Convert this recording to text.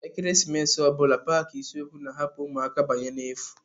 Ekeresimesi ọ bụla paaki isiokwu na-ahapu ụmụaka banye n'efu.